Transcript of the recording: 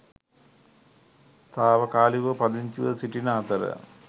තාවකාලිකව පදිංචිව සිටින අතර